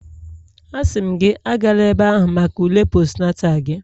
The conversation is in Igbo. Asị m gị, Agala ebe ahụ maka ule postnatal gị